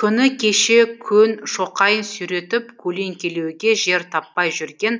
күні кеше көн шоқайын сүйретіп көлеңкелеуге жер таппай жүрген